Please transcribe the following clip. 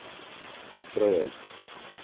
vryheid